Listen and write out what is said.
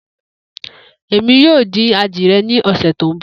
Emi yoo din adiẹ ni ọsẹ to nbọ.